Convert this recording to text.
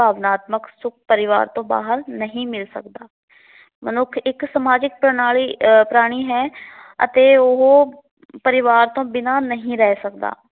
ਪਰਿਵਾਰ ਤੋਂ ਬਾਹਰ ਨਹੀ ਮਿਲ ਸਕਦਾ। ਮਨੁੱਖ ਇਕ ਸਮਾਜਿਕ ਪ੍ਰਣਾਲੀ ਅਹ ਪ੍ਰਾਣੀ ਹੈ ਅਤੇ ਉਹ ਪਰਿਵਾਰ ਤੋਂ ਬਿਨ੍ਹਾਂ ਨਹੀਂ ਰਹਿ ਸਕਦਾ।